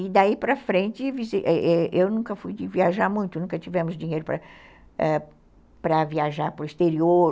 E daí para frente, eu eu nunca fui viajar muito, nunca tivemos dinheiro para viajar para o exterior.